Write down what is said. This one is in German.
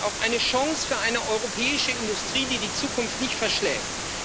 Sie ist auch eine Chance für eine europäische Industrie, die die Zukunft nicht verschläft.